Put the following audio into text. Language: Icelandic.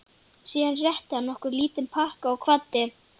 Síðan rétti hann okkur lítinn pakka og kvaddi.